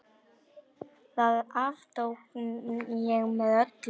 Það aftók ég með öllu.